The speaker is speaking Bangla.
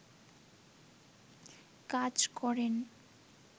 কাজ করেন